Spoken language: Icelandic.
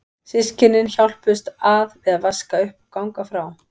Systkynin hjálpuðust að við að vaska upp og ganga frá.